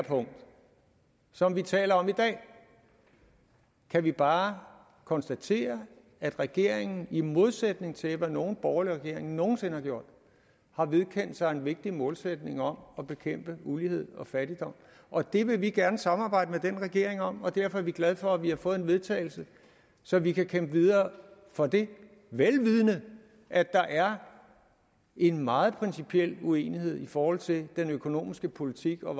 punkt som vi taler om i dag kan vi bare konstatere at regeringen i modsætning til hvad nogen borgerlig regering nogen sinde har gjort har vedkendt sig en vigtig målsætning om at bekæmpe ulighed og fattigdom og det vil vi gerne samarbejde med den regering om og derfor er vi glade for at vi har fået vedtagelse så vi kan kæmpe videre for det vel vidende at der er en meget principiel uenighed i forhold til den økonomiske politik og